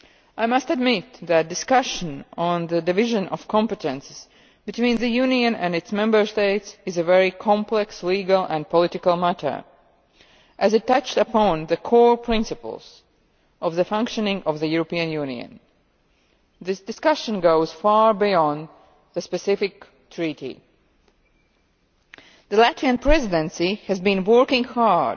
I must admit that discussions on the division of competences between the European Union and its Member States is a very complex legal and political matter, as it touches upon the core principles of the functioning of the European Union. This discussion goes far beyond the specific Treaty. The Latvian Presidency has been working